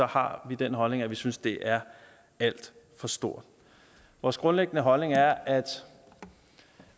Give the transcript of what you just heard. har vi den holdning at vi synes at det er alt for stort vores grundlæggende holdning er at